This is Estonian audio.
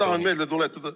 Kas te tahate ...